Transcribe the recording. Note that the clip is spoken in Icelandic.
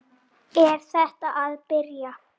Er þetta að byrja?